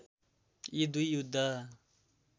यी दुई युद्ध